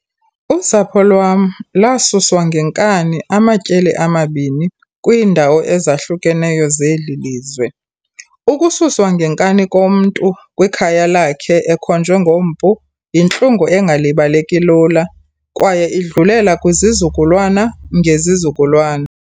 Usapho lwam lwasuswa ngenkani amatyeli amabini kwiindawo ezahlukeneyo zeli lizwe. Ukususwa ngenkani komntu kwikhaya lakhe ekhonjwe ngompu yintlungu engalibaleki lula, kwaye idlulela kwizizukulwana ngezizukulwana.